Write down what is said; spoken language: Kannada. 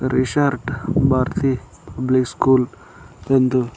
ರಿಶಾರ್ಟ್ ಭಾರತಿ ಪಬ್ಲಿಕ್ ಸ್ಕೂಲ್ ಎಂದು--